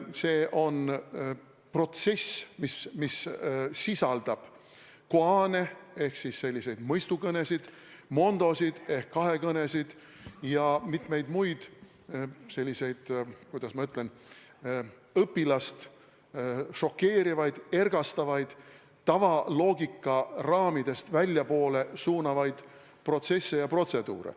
See on protsess, mis sisaldab koan'e ehk selliseid mõistukõnesid, mondo'sid ehk kahekõnesid ja mitmeid muid selliseid, kuidas ma ütlen, õpilast šokeerivaid või ergastavaid, tavaloogika raamidest väljapoole suunavaid protsesse ja protseduure.